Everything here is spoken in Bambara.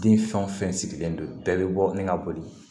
Den fɛn o fɛn sigilen don bɛɛ bɛ bɔ ni ka boli